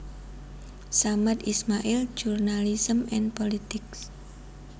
Samad Ismail journalism and politics